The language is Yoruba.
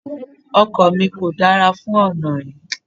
Ọkọ̀ mi kò dára fún ọ̀nà yí.